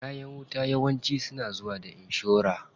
Kayan wuta yawanci suna zuwa da inshora.